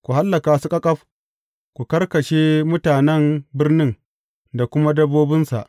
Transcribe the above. Ku hallaka su ƙaƙaf, ku karkashe mutanen birnin da kuma dabbobinsa.